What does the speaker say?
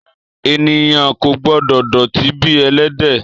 Èniyán kò gbõdò dòtí bí èlédè